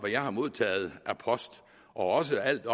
jeg har modtaget af post og også alt